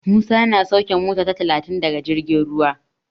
Musa yana sauke mota ta talatin daga jirgin ruwa.